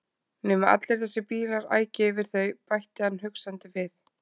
Nema allir þessir bílar ækju yfir þau bætti hann hugsandi við.